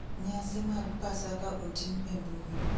Nyasi mag pasaka otim e mbui